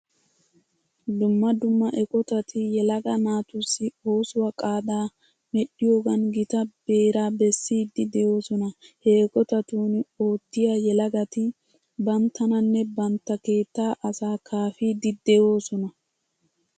Dumma dumma eqotati yelaga naatussi oosuwa qaadaa medhdhiyogan gita beeraa bessiiddi de'oosona. Ha eqotatun oottiya yelagati banttananne bantta keettaa asaa kaafiiddi de'oosona.